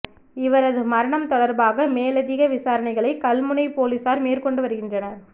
இவரது மரணம் தொடர்பாக மேலிதிக விசாரணைகளை கல்முனை பொலிஸார் மேற்கொண்டு வருகின்றனர்